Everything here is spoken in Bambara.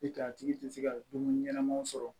I ka a tigi tɛ se ka dumuni ɲɛnamanw sɔrɔ